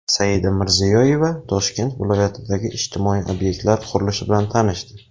Saida Mirziyoyeva Toshkent viloyatidagi ijtimoiy obyektlar qurilishi bilan tanishdi .